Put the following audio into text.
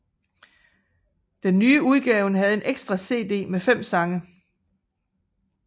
Den nye udgaven havde en ekstra cd med fem sange